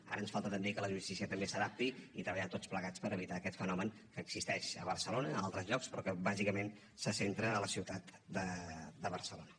ara ens falta també que la justícia també s’hi adapti i treballar tots plegats per evitar aquest fenomen que existeix a barcelona a altres llocs però que bàsicament se centra en la ciutat de barcelona